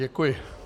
Děkuji.